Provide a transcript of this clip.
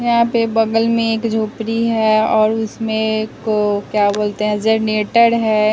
यहां पे बगल में एक झोपड़ी है और उसमें को क्या बोलते हैं जनरेटर है।